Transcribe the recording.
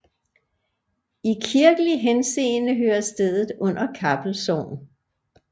I kirkelig henseende hører stedet under Kappel Sogn